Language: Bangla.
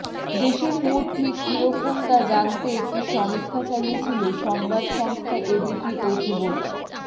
দেশের মুড ঠিক কীরকম তা জানতে একটি সমীক্ষা চালিয়েছিল সংবাদ সংস্থা এবিপি ও সিভোটার